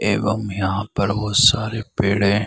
एवं यहाँ पर बहुत सारे पेड़ हैं।